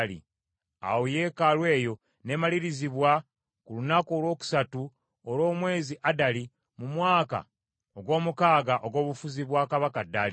Awo yeekaalu eyo n’emalirizibwa ku lunaku olwokusatu olw’omwezi Adali, mu mwaka ogw’omukaaga ogw’obufuzi bwa kabaka Daliyo.